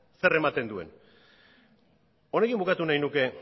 zer ematen duen honekin bukatu nahi nuke